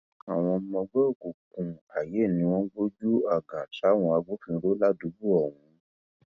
àwọn ọmọ ẹgbẹ òkùnkùn aiye ni wọn gbojú àgàn sáwọn agbófinró ládùúgbò ọhún